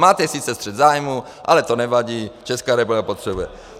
Máte sice střet zájmů, ale to nevadí, Česká republika potřebuje.